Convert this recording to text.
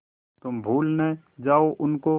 तुम भूल न जाओ उनको